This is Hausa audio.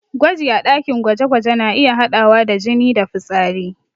Gwaji a ɗakin gwaje-gwaje na iya haɗawa da jini da fitsari.